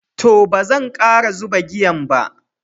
To, bazan kara zuɓa giyan ba.